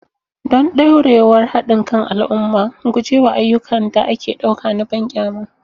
Don dorewar haɗin kan al'umma, guje wa ayyukan da ake ɗauka na banƙyama.